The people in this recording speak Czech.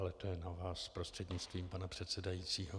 Ale to je na vás, prostřednictvím pana předsedajícího.